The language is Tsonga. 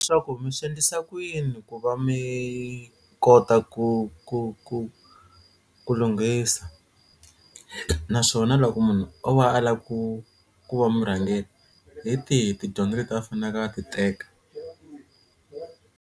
Swa ku mi swi endlisa ku yini ku va mi kota ku ku ku ku lunghisa naswona loko munhu o va a lava ku ku va murhangeri hi tihi tidyondzo leti a faneke a ti teka.